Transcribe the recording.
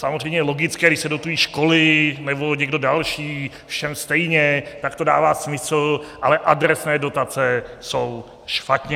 Samozřejmě je logické, když se dotují školy nebo někdo další všem stejně, tak to dává smysl, ale adresné dotace jsou špatně.